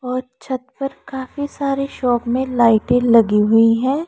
और छत पर काफी सारे शॉप मे लाइटें लगी हुई हैं।